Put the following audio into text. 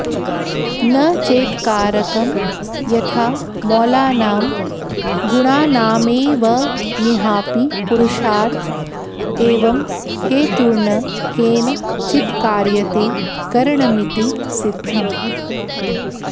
न चेत्कारकं यथा मौलानां गुणानामेवमिहापि पुरुषार्थ एवं हेतुर्न केन चित्कार्यते करणमिति सिद्धम्